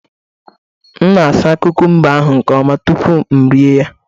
M na-asa kukumba ahụ nke ọma tupu m erie ya